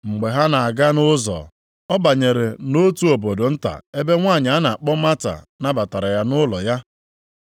Mgbe ha na-aga nʼụzọ, ọ banyere nʼotu obodo nta ebe nwanyị a na-akpọ Mata nabatara ya nʼụlọ ya.